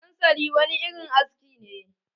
Sansali wani irin aski ne.